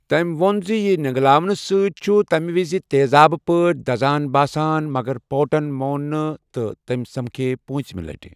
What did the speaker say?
تٔمۍ ووٚن زِ یہِ نینگلاونہٕ سۭتۍ چھُ تَمی وِزِ تیزآب پٲٹھۍ دزان باسان، مگر پورٹَن مون نہٕ تہٕ تِم سمکھے پوٗنٛژمہِ لَٹہِ۔